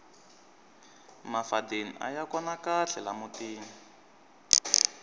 mafadeni aya kona kahle la mutini